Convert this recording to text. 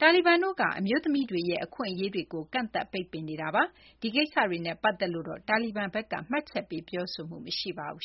တာလီဘန်တို့က အမျိုးသမီးတွေရဲ့ အခွင့်အရေးတွေကို ကန့်သတ်ပိတ်ပင်နေတာပါ။ ဒီကိစ္စတွေနဲ့ ပတ်သက်လို့တော့ တာလီဘန်ဘက်က မှတ်ချက်ပေး ပြောဆိုမှု မရှိပါဘူး